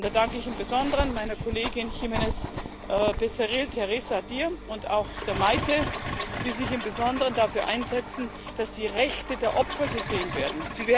Da danke ich im Besonderen meiner Kollegin Teresa Jiménez Becerril Barrio und auch der Maite, die sich im Besonderen dafür einsetzen, dass die Rechte der Opfer gesehen werden.